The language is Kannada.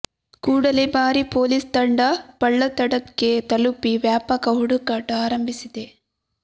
ಕೂಡಲೇ ಭಾರೀ ಪೊಲೀಸ್ ತಂಡ ಪಳ್ಳತ್ತಡ್ಕಕ್ಕೆ ತಲುಪಿ ವ್ಯಾಪಕ ಹುಡುಕಾಟ ಆರಂಭಿಸಿದೆ